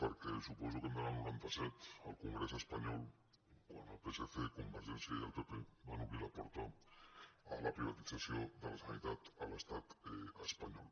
perquè suposo que hem d’anar al noranta set al congrés espanyol quan el psc convergència i el pp van obrir la porta a la privatització de la sanitat a l’estat espanyol